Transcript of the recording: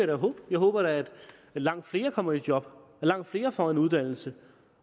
da håbe jeg håber da at langt flere kommer i job at langt flere får en uddannelse